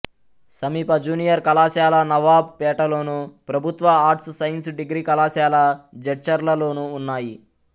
సమీప జూనియర్ కళాశాల నవాబ్ పేటలోను ప్రభుత్వ ఆర్ట్స్ సైన్స్ డిగ్రీ కళాశాల జడ్చర్లలోనూ ఉన్నాయి